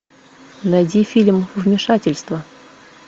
найди фильм вмешательство